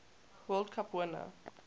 world cup winner